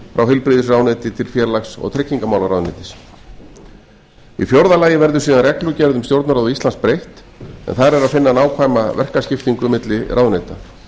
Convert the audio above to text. frá heilbrigðisráðuneyti til félags og tryggingamálaráðuneytis í fjórða lagi verður síðan reglugerð um stjórnarráð íslands breytt en þar er að finna nákvæma verkaskiptingu milli ráðuneyta